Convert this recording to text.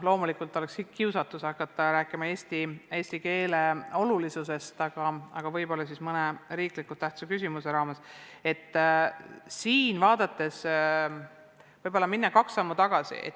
Loomulikult on kiusatus hakata rääkima eesti keele olulisusest, aga võib-olla teen seda mõne riiklikult tähtsa küsimuse arutamise raames.